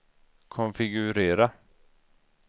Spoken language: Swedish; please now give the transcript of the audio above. konfigurera